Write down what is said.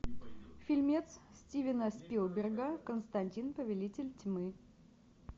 фильмец стивена спилберга константин повелитель тьмы